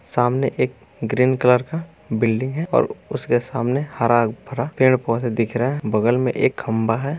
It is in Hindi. सामने एक ग्रीन कलर का बिल्डिंग है और उसके सामने हरा-भरा पेड़-पौधे दिख रहे है बगल मे एक खम्भा है।